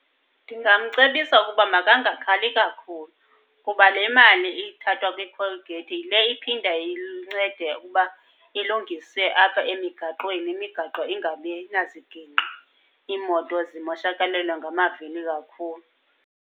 Ndingamcebisa ukuba makangakhali kakhulu, kuba le mali ithathwa kwi-toll gate yile iphinda incede ukuba ilungise apha emigaqweni, imigaqo ingabi nazigingqi iimoto zimoshakalelwe ngamavili kakhulu.